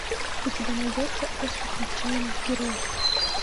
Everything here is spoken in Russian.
у тебя найдется остров отчаянных героев